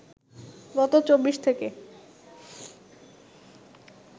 গত ২৪ থেকে